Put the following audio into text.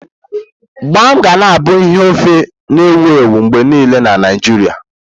Mgbam ga na abụ ihe ofe na-ewu ewu mgbe niile na Naijiria.